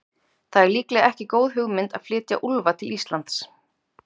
Það er líklega ekki góð hugmynd að flytja úlfa til Íslands.